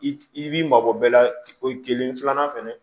I i b'i mabɔ bɛɛ la o kelen filanan fɛnɛ